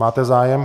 Máte zájem?